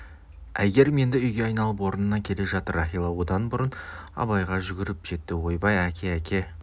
әйгерім енді үйге айналып орнына келе жатыр рахила одан бұрын абайға жүгіріп жетті ойбай әке әке